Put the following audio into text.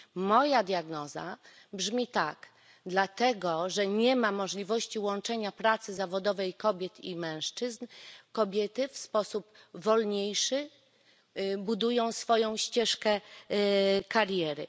Moja diagnoza brzmi tak dlatego, że nie ma możliwości łączenia pracy zawodowej kobiet i mężczyzn, kobiety w sposób wolniejszy budują swoją ścieżkę kariery.